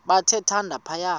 bathe thande phaya